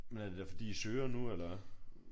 Men er det da fordi I søger nu eller?